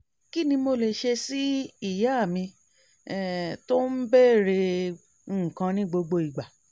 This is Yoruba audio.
kí ni mo lè ṣe sí ìyá mi um tó ń bèèrè nǹkan ní gbogbo ìgbà?